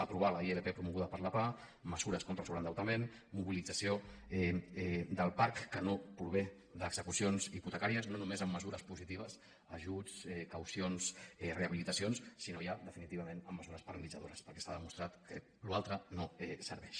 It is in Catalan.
aprovar la ilp promoguda per la pah mesures contra el sobreendeutament mobilització del parc que no prové d’execucions hipotecàries no només amb mesures positives ajuts caucions rehabilitacions sinó ja definitivament amb mesures paralitzadores perquè s’ha demostrat que allò altre no serveix